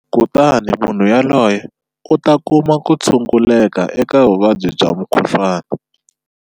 Kutani munhu yoloye u ta kuma ku tshunguleka eka vuvabyi bya mukhuhlwana.